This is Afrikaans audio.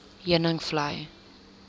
heuningvlei